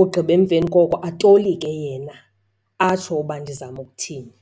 ugqiba emveni koko atolike yena atsho uba ndizama ukuthini.